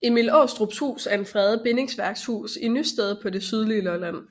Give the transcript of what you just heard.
Emil Aarestrups Hus er en fredet bindingsværkshus i Nysted på det sydlige Lolland